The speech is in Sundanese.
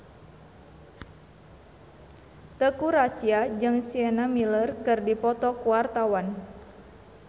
Teuku Rassya jeung Sienna Miller keur dipoto ku wartawan